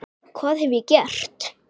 hvað hef ég gert?